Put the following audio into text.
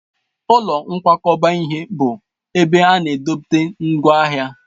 Ụlọ nkwakọba ihe bụ ebe ana edote ngwaahịa.